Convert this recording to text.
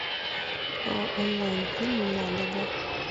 онлайн фильм ладога